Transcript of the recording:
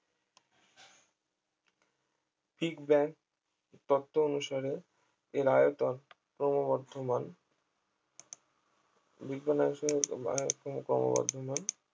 big bang তত্ত্ব অনুসারে এর আয়তন ক্রমবর্ধমান বিজ্ঞানের অংশে যেহেতু আয়তন ক্রমবর্ধমান